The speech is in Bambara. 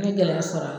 N ye gɛlɛya sɔrɔ a la